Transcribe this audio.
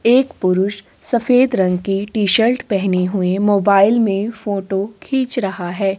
एक पुरुष सफेद रंग की टी-शर्ट पहने हुए मोबाइल में फोटो खींच रहा हैं।